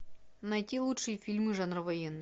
найти лучшие фильмы жанра военный